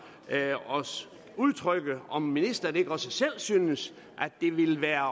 at udtrykke om ministeren ikke også selv synes at det vil være